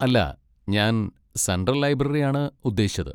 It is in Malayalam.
അല്ല, ഞാൻ സെൻട്രൽ ലൈബ്രറി ആണ് ഉദ്ദേശിച്ചത്.